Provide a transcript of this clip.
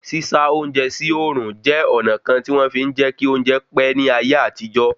Sísá oúnjẹ sí òòrùn jẹ́ ọ̀nà kan tí wọ́n fí ń jẹ́ kí oúnjẹ pẹ́ ní ayé àtijọ́